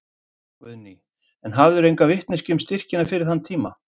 Guðný: En hafðirðu enga vitneskju um styrkina fyrir þann tíma?